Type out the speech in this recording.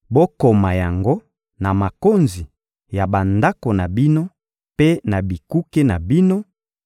Bokoma yango na makonzi ya bandako na bino mpe na bikuke na bino